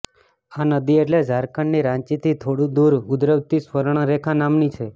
આ નદી એટલે ઝારખંડની રાંચીથી થોડું દૂર ઉદ્વવતી સ્વર્ણરેખા નામની છે